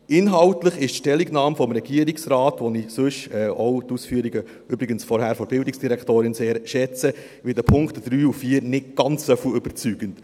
Inhaltlich ist die Stellungnahme des Regierungsrates, die ich, wie übrigens auch die Ausführungen der Bildungsdirektorin von vorhin, sehr schätze, in den Punkten 3 und 4 nicht ganz so überzeugend.